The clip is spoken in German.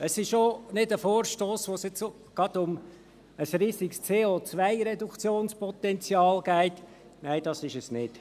Es ist auch nicht ein Vorstoss, bei dem es um ein riesiges CO-Reduktionspotenzial geht – nein, das ist es nicht.